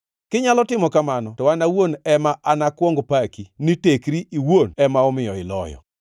Kinyalo timo kamano to an owuon ema anakuong paki ni tekri iwuon ema omiyo iloyo.